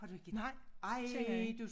Nej kender ikke